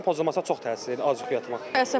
Amma əsəblərin pozulmasına çox təsir edir, az yuxu yatmaq.